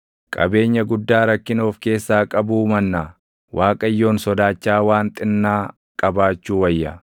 Qabeenya guddaa rakkina of keessaa qabuu mannaa, Waaqayyoon sodaachaa waan xinnaa qabaachuu wayya.